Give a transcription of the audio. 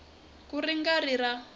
ka ri nga ri ra